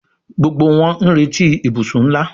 Gbógbó wón n'reti ibusùn nlá